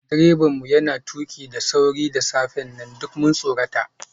Direban mu yana tuki da sauri da safen nan, duk mun tsorata.